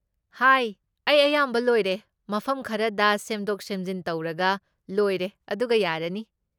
ꯍꯥꯏ, ꯑꯩ ꯑꯌꯥꯝꯕ ꯂꯣꯏꯔꯦ, ꯃꯐꯝ ꯈꯔꯗ ꯁꯦꯝꯗꯣꯛ ꯁꯦꯝꯖꯤꯟ ꯇꯧꯔꯒ ꯂꯣꯏꯔꯦ ꯑꯗꯨꯒ ꯌꯥꯔꯅꯤ꯫